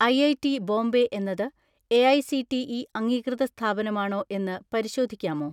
IIT Bombay എന്നത് AICTE അംഗീകൃത സ്ഥാപനമാണോ എന്ന് പരിശോധിക്കാമോ?